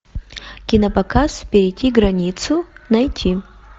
кинопоказ перейти границу найти